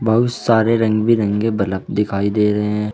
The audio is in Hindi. बहुत सारे रंग बिरंगे बलफ़ दिखाई दे रहे हैं।